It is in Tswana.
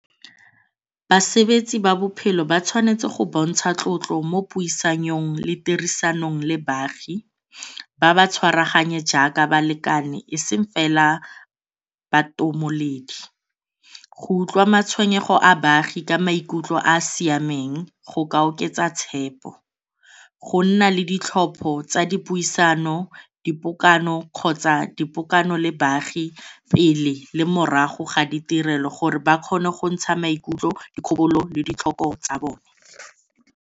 Basebetsi ba bophelo ba tshwanetse go bontsha tlotlo mo puisanong le tirisanong le baagi, ba ba tshwaragane jaaka balekane eseng fela bantomoledi. Go utlwa matshwenyego a baagi ka maikutlo a a siameng go ka oketsa tshepo, go nna le ditlhopho tsa dipuisano, dipokano kgotsa dipokano le baagi pele le morago ga ditirelo gore ba kgone go ntsha maikutlo dikgobalo le ditlhoko tsa bone.